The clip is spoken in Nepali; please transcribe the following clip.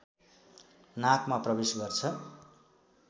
नाकमा प्रवेश गर्छ